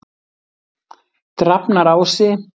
Drafnarási